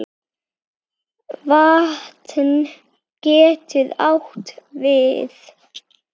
Vatn getur átt við